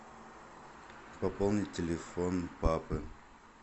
пополнить телефон папы